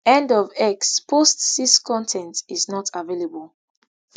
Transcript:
end of x post six con ten t is not available